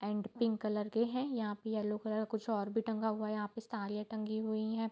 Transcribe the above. And pink colour के हैं यहाँ पे येलो कलर कुछ और भी टंगा हुआ है यहाँ पे साड़ियाँ टंगी हुई हैं।